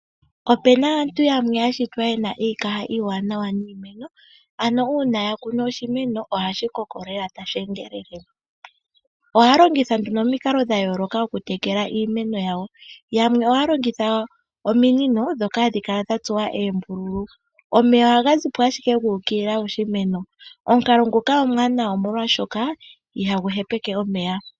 Opena aantu yamwe ya shitwa ye na iikaha iiwanawa niimeno. Ano uuna ya kunu oshimeno ohashi koko lela tashi endelele. Ohaya longitha nduno omikalo dha yooloka okutekela iimeno yawo. Yamwe ohaya longitha ominino ndhoka hadhi kala dha tsuwa eembululu, omeya ohaga zi po ashike guukilila moshimeno . Omukalo nguka omwaanawa omolwashoka ihagu hepeke omeya.